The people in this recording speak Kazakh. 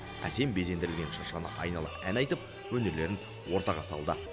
әсем безендірілген шыршаны айнала ән айтып өнерлерін ортаға салды